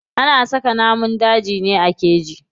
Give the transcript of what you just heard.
Ana saka namun dajin ne a keji.